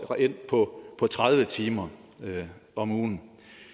reelt på tredive timer om ugen